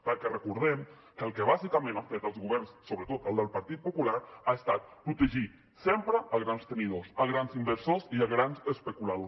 perquè recordem que el que bàsicament han fet els governs sobretot el del partit popular ha estat protegir sempre grans tenidors grans inversors i grans especuladors